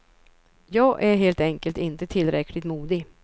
Jag är helt enkelt inte tillräckligt modig.